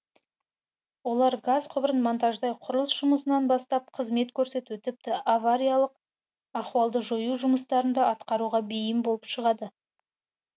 олар газ құбырын монтаждай құрылыс жұмысынан бастап қызмет көрсету тіпті авариялық ахуалды жою жұмыстарын да атқаруға бейім болып шығады